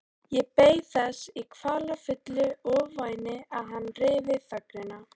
Ég beið þess í kvalafullu ofvæni að hann ryfi þögnina.